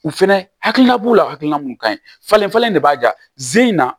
U fɛnɛ hakilila b'u la hakilina mun kaɲi falenfalen de b'a ja ze in na